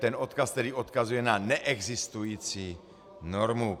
Ten odkaz tedy odkazuje na neexistující normu.